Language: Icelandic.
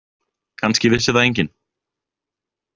Kannski vissi það enginn.